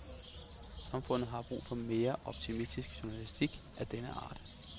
Samfundet har brug for mere optimistisk journalistik af denne art.